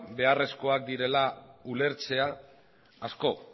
beharrezkoak direla ulertzea asko